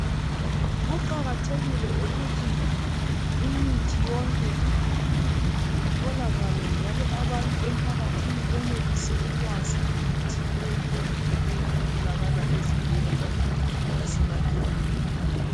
Kuqakathekile ukuthi imithi yonke itholakale njalo abantu emphakathini benelise ukwazi ngemithi eyehlukeneyo etholakala ezibhedlela lemakilinika.